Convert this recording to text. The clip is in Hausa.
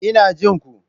Ina jin ku.